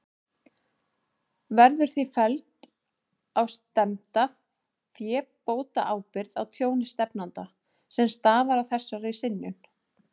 Verður því felld á stefnda fébótaábyrgð á tjóni stefnanda, sem stafar af þessari synjun.